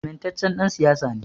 Amintaccen ɗan siyasa ne